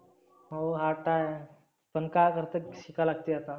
हो hard तर आहे. पण काय करतं शिका लागते आता.